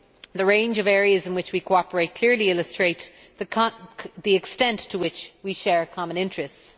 The range of areas in which we cooperate clearly illustrate the extent to which we share common interests.